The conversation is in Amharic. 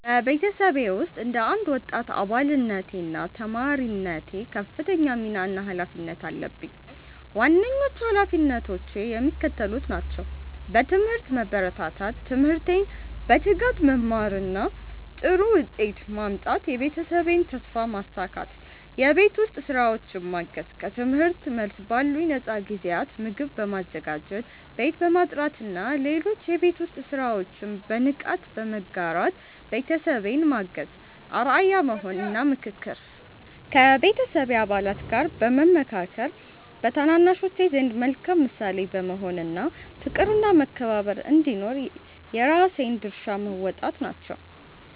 በቤተሰቤ ውስጥ እንደ አንድ ወጣት አባልነቴና ተማሪነቴ ከፍተኛ ሚና እና ኃላፊነት አለብኝ። ዋነኞቹ ኃላፊነቶቼ የሚከተሉት ናቸው፦ በትምህርት መበርታት፦ ትምህርቴን በትጋት በመማርና ጥሩ ውጤት በማምጣት የቤተሰቤን ተስፋ ማሳካት። የቤት ውስጥ ሥራዎችን ማገዝ፦ ከትምህርት መልስ ባሉኝ ነፃ ጊዜያት ምግብ በማዘጋጀት፣ ቤት በማጽዳትና ሌሎች የቤት ውስጥ ሥራዎችን በንቃት በመጋራት ቤተሰቤን ማገዝ። አርአያ መሆን እና ምክክር፦ ከቤተሰብ አባላት ጋር በመመካከር፣ በታናናሾች ዘንድ መልካም ምሳሌ በመሆን እና ፍቅርና መከባበር እንዲኖር የራሴን ድርሻ መወጣት ናቸው።